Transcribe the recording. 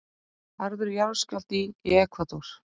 Harður jarðskjálfti í Ekvador